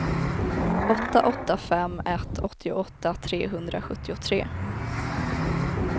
åtta åtta fem ett åttioåtta trehundrasjuttiotre